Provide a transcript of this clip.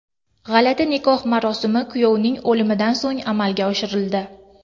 G‘alati nikoh marosimi kuyovning o‘limidan so‘ng amalga oshirildi.